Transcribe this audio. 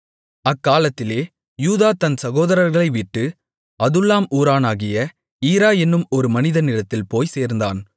அக்காலத்திலே யூதா தன் சகோதரர்களை விட்டு அதுல்லாம் ஊரானாகிய ஈரா என்னும் ஒரு மனிதனிடத்தில் போய்ச் சேர்ந்தான்